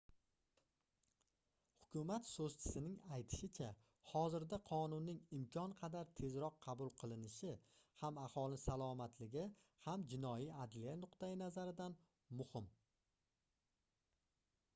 hukumat soʻzchisining aytishicha hozirda qonunning imkon qadar tezroq qabul qilinishi ham aholi salomatligi ham jinoiy adliya nuqtayi nazaridan muhim